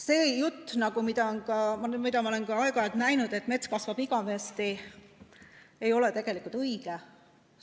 See jutt, mida ma olen ka aeg-ajalt kuulnud, et mets kasvab igavesti, ei ole tegelikult õige.